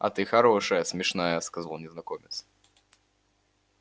а ты хорошая смешная сказал незнакомец